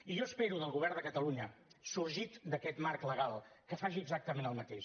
i jo espero del govern de catalunya sorgit d’aquest marc legal que faci exactament el mateix